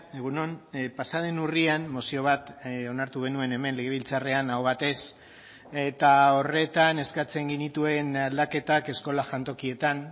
egun on pasa den urrian mozio bat onartu genuen hemen legebiltzarrean aho batez eta horretan eskatzen genituen aldaketak eskola jantokietan